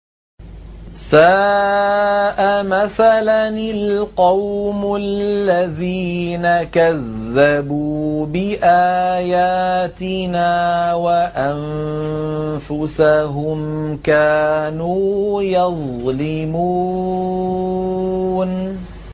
سَاءَ مَثَلًا الْقَوْمُ الَّذِينَ كَذَّبُوا بِآيَاتِنَا وَأَنفُسَهُمْ كَانُوا يَظْلِمُونَ